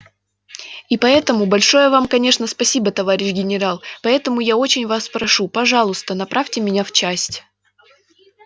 и поэтому большое вам конечно спасибо товарищ генерал поэтому я очень вас прошу пожалуйста направьте меня в часть